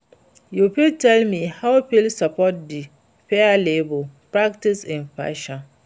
You fit tell me how you fit support di fair labor practices in fashion?